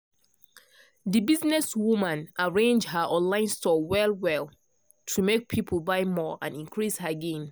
the business woman arrange her online store well well to make people buy more and increase her gain.